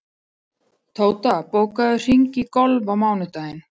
Tóta, bókaðu hring í golf á mánudaginn.